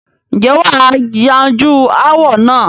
ǹjẹ́ wà á yanjú ááwọ̀ náà?